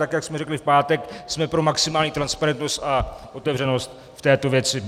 Tak jak jsme řekli v pátek, jsme pro maximální transparentnost a otevřenost v této věci.